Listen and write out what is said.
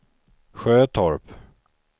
Sjötorp